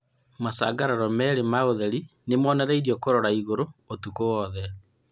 macangararo meerĩ ma ũtheri nĩmonereirio kũrora na ĩgũrũ ũtukũ wothe.